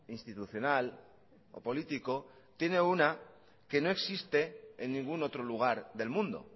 institucional o político tiene una que no existe en ningún otro lugar del mundo